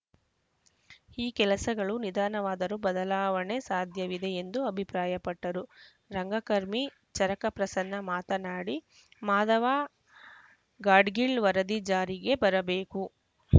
ಈ ಕೆಲಸಗಳು ನಿಧಾನವಾದರೂ ಬದಲಾವಣೆ ಸಾಧ್ಯವಿದೆ ಎಂದು ಅಭಿಪ್ರಾಯಪಟ್ಟರು ರಂಗಕರ್ಮಿ ಚರಕ ಪ್ರಸನ್ನ ಮಾತನಾಡಿ ಮಾಧವ ಗಾಡ್ಗೀಳ್‌ ವರದಿ ಜಾರಿಗೆ ಬರಬೇಕು